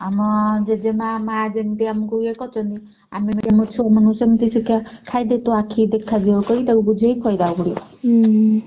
ଆମ ଜେଜେମା ମା ଯେମିତି ଆମକୁ ୟେ କରୁଛନ୍ତି ଆମେ ବି ଆମ ଛୁଆମାନଙ୍କୁ ସେମିତି ଶିଖେଇବା ଖାଇଦେ ତୋ ଆଖିକି ଦେଖାଯିବ କହି ତାକୁ ବୁଝେଇକି ଖୁଏଇଦେବାକୁ ପଡିବ।